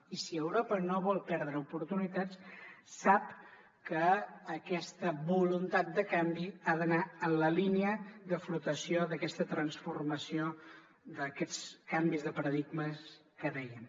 i si europa no vol perdre oportunitats sap que aquesta voluntat de canvi ha d’anar en la línia de flotació d’aquesta transformació d’aquests canvis de paradigmes que dèiem